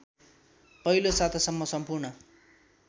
पहिलो सातासम्म सम्पूर्ण